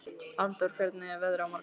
Arndór, hvernig er veðrið á morgun?